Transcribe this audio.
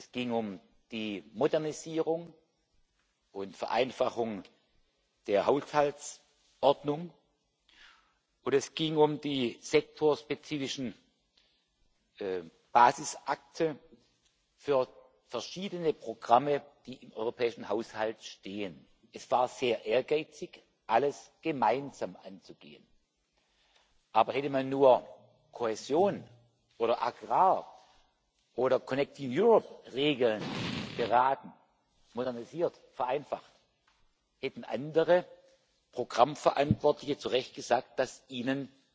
Es ging um die Modernisierung und Vereinfachung der Haushaltsordnung, und es ging um die sektorspezifischen Basisakte für verschiedene Programme, die im europäischen Haushalt stehen. Es war sehr ehrgeizig, alles gemeinsam anzugehen. Aber hätte man nur Kohäsion oder Agrar oder Regeln beraten, modernisiert, vereinfacht, hätten andere Programmverantwortliche zu Recht gesagt, dass ihnen